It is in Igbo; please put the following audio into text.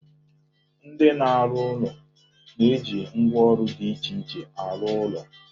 Ndị na-arụ ụlọ na-eji ngwaọrụ dị iche iche arụ ọrụ.